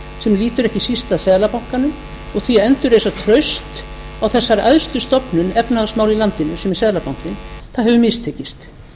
sem lýtur ekki síst að seðlabankanum og því að endurreisa traust á þessari æðstu stofnun efnahagsmála í landinu sem er seðlabankinn hefur mistekist